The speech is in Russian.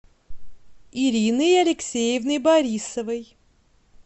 ириной алексеевной борисовой